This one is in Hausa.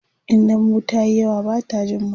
in dambu tayi yawa Bata Jin mai